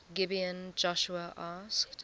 gibeon joshua asked